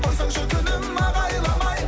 қойсаңшы күнім ағайламай